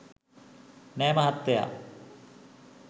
නෑ මහත්තයා